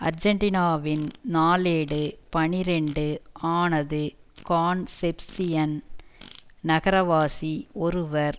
ஆர்ஜென்டினாவின் நாளேடு பனிரண்டு ஆனது கான்செப்சியன் நகரவாசி ஒருவர்